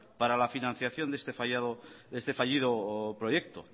para la financiación de este fallido proyecto